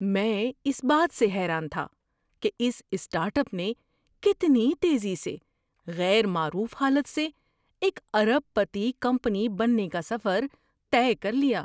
میں اس بات سے حیران تھا کہ اس اسٹارٹ اپ نے کتنی تیزی سے غیر معروف حالت سے ایک ارب پتی کمپنی بننے کا سفر طے کر لیا۔